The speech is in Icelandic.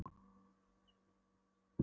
En nú var eins og líf færðist í sjúklinginn.